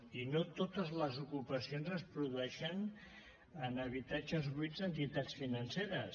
i no totes les ocupacions es produeixen en habitatges buits d’entitats financeres